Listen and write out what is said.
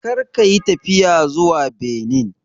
Kar ka yi tafiya zuwa Benin!